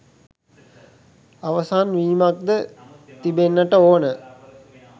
අවසන් වීමක් ද තිබෙන්නට ඕන.